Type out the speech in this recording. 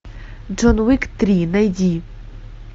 джон уик три найди